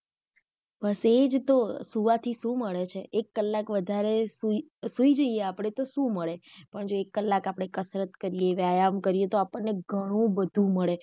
બસ એજ તો સુવા થી શુ મળે છે એક કલાક વધારે સુઈ સુઈ જઇએ આપડે તો શુ મળે પણ જો એક કલાક આપડે કસરત કરીયે, વ્યાયામ કરીયે તો આપણ ને ગણું બધું મળે.